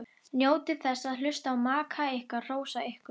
Njótið þess að hlusta á maka ykkar hrósa ykkur.